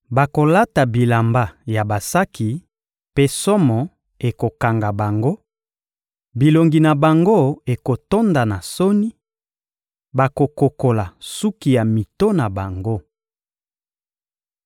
Bakolata bilamba ya basaki mpe somo ekokanga bango; bilongi na bango ekotonda na soni, bakokokola suki ya mito na bango.